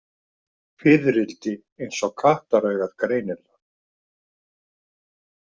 Fiðrildi eins og kattaraugað greinir það.